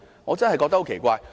我真的感到很奇怪。